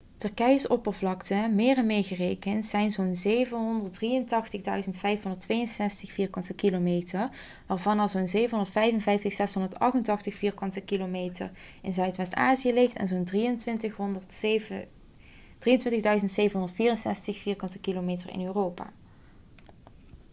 turkije's oppervlakte meren meegerekend is zo'n 783.562 km² 300.948 mi2 waarvan er zo'n 755.688 km² 291.773 mi2 in zuidwest-azië ligt en zo'n 23.764 km² 9174 mi2 in europa